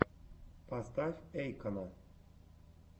поставь эйкона